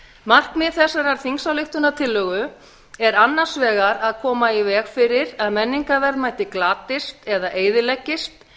markmið þessarar þingsályktunartillögu er annars vegar að koma í veg fyrir að menningarverðmæti glatist eða eyðileggist